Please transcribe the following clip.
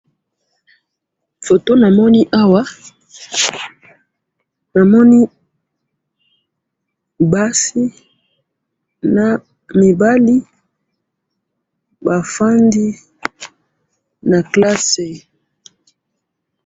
foto namoni awa namoni basi na mibali bafandi na kelasi.